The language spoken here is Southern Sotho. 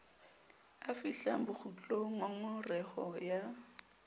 a fihlang bokgutlong ngongoreho ya